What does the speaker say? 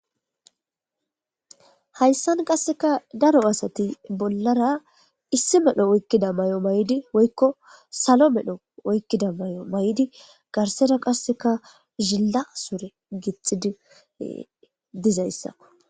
hayssan qasseka daro asati bollara issi medho oykkida may7o may7di woykko salo medho oykkida may7o may7di garsera qasseka zilla sore gixidi dizayssa